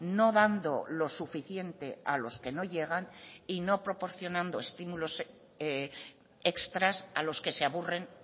no dando lo suficiente a los que no llegan y no proporcionando estímulos extras a los que se aburren